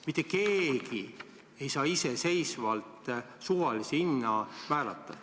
Mitte keegi ei saa iseseisvalt suvalise hinna määrata.